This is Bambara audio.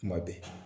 Kuma bɛɛ